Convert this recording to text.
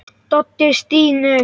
Doddi stynur.